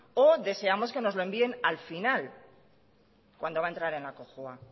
o deseamos que nos lo envíen al final cuando va a entrar en la cojua